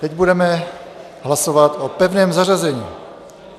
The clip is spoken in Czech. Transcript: Teď budeme hlasovat o pevném zařazení.